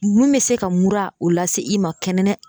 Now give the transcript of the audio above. Mun bɛ se ka mura o la se i ma